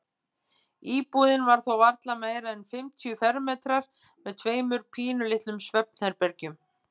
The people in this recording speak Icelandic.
Íbúðin var þó varla meira en fimmtíu fermetrar með tveimur pínulitlum svefnherbergjum.